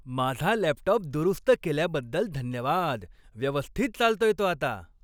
माझा लॅपटॉप दुरुस्त केल्याबद्दल धन्यवाद. व्यवस्थित चालतोय तो आता.